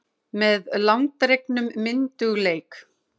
Með langdregnum myndugleik.